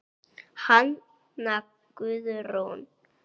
Hanna Guðrún.